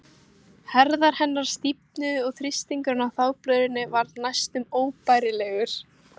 Herðar hennar stífnuðu og þrýstingurinn á þvagblöðruna varð næstum óbærilegur.